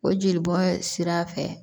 O jelibɔ sira fɛ